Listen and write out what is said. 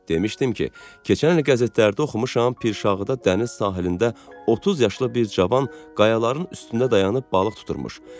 Demişdim ki, keçən il qəzetlərdə oxumuşam Pirşağıda dəniz sahilində 30 yaşlı bir cavan qayaların üstündə dayanıb balıq tutubmuş.